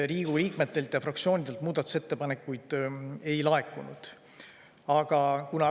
Riigikogu liikmetelt ega fraktsioonidelt muudatusettepanekuid ei olnud laekunud.